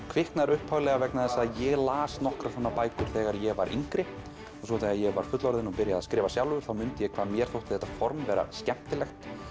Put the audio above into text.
kviknar upphaflega vegna þess að ég las nokkrar svona bækur þegar ég var yngri og svo þegar ég var fullorðinn og byrjaði að skrifa sjálfur þá mundi ég hvað mér þótti þetta form vera skemmtilegt